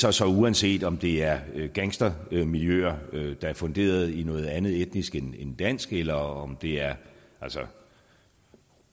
er så uanset om det er gangstermiljøer der er funderet i noget andet etnisk end end dansk eller om det er